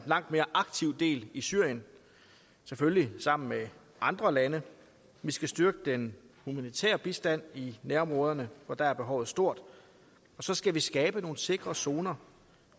langt mere aktivt del i syrien selvfølgelig sammen med andre lande vi skal styrke den humanitære bistand i nærområderne for der er behovet stort og så skal vi skabe nogle sikre zoner